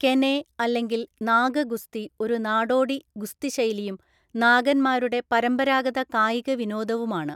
കെനെ അല്ലെങ്കിൽ നാഗ ഗുസ്തി ഒരു നാടോടി ഗുസ്തിശൈലിയും നാഗന്മാരുടെ പരമ്പരാഗത കായിക വിനോദവുമാണ്.